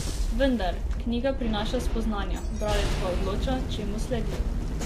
Vendar, knjiga prinaša spoznanja, bralec pa odloča, čemu sledi.